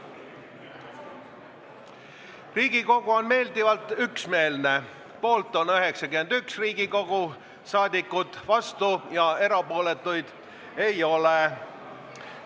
Hääletustulemused Riigikogu on meeldivalt üksmeelne – poolt on 91 Riigikogu liiget, vastuolijaid ega erapooletuid ei ole.